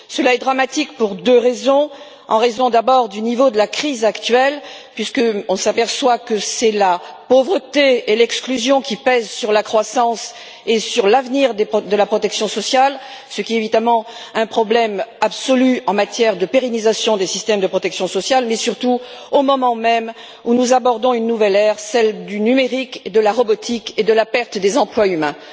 Cela est dramatique pour deux raisons, compte tenu d'abord du niveau de la crise actuelle, puisqu'on s'aperçoit que ce sont la pauvreté et l'exclusion qui pèsent sur la croissance et sur l'avenir de la protection sociale, ce qui est évidemment un problème absolu en matière de pérennisation des systèmes de protection sociale, mais surtout au moment même où nous abordons une nouvelle ère, celle du numérique, de la robotique et de la perte des emplois humains.